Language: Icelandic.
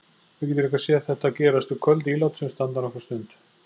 Við getum líka séð þetta gerast við köld ílát sem standa nokkra stund.